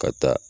Ka taa